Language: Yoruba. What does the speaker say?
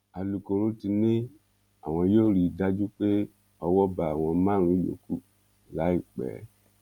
alūkkóró ti ní àwọn yóò rí i dájú pé owó bá àwọn márùnún yòókù láìpẹ